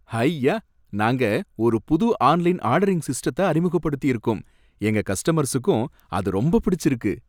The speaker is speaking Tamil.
ஹய்யா! நாங்க ஒரு புது ஆன்லைன் ஆர்டரிங் சிஸ்டத்த அறிமுகப்படுத்தியிருக்கோம், எங்க கஸ்டமர்ஸுக்கும் அது ரொம்ப பிடிச்சிருக்கு